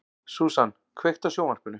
Susan, kveiktu á sjónvarpinu.